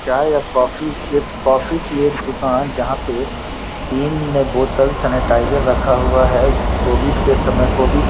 चाय या कॉफ़ी की- कॉफी की एक दुकान जहां पे तीन बोतल सेनेटाइज़र रखा हुआ है कोविड के समय कोविड --